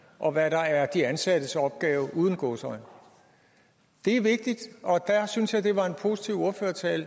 og hvad der er de ansattes opgave uden gåseøjne det er vigtigt og der synes jeg at det var en positiv ordførertale